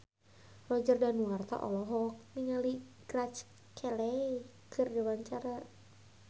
Roger Danuarta olohok ningali Grace Kelly keur diwawancara